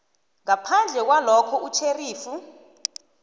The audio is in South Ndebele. ngaphandle kwalokha utjherifu